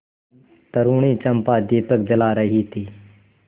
तरूणी चंपा दीपक जला रही थी